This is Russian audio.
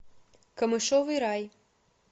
камышовый рай